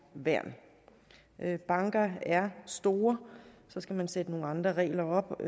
værn banker er store så skal man sætte nogle andre regler op